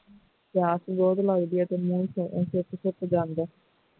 ਪਿਆਸ ਬਹੁਤ ਲੱਗਦੀ ਅਤੇ ਮੂੰਹ ਸੁੱਕ ਸੁੱਕ ਜਾਂਦਾ ਹੈ